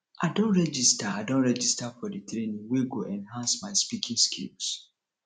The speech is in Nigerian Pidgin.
i don register i don register for di training wey go enhance my speaking skills